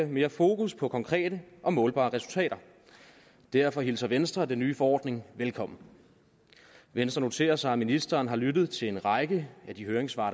mere fokus på konkrete og målbare resultater derfor hilser venstre den nye forordning velkommen venstre noterer sig at ministeren har lyttet til en række af de høringssvar